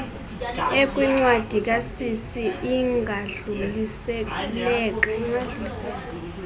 ekwincindi kasisi ingadluliseleka